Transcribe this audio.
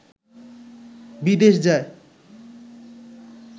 বিদেশ যায়